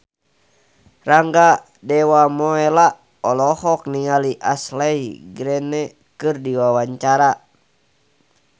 Rangga Dewamoela olohok ningali Ashley Greene keur diwawancara